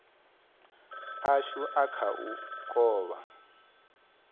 ashu a kha u kovha